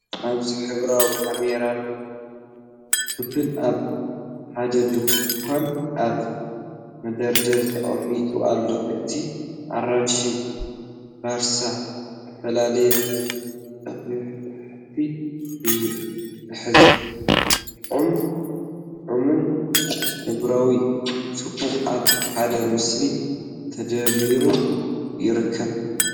ኣብዚ ሕብራዊ ካራሜላን ቢስኩትን ኣብ ሓደ ድኳን ኣብ መደርደሪ ተቐሚጦም ኣለዉ። እቲ ኣራንሺ ቦርሳ ዝተፈለየ ጦብላሕታ እዩ ዝህብ፤ ጥዑም ጣዕምን ሕብራዊ ጽባቐን ኣብ ሓደ ምስሊ ተደሚሩ ይርከብ።